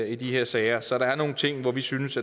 i de her sager så der er nogle ting som vi synes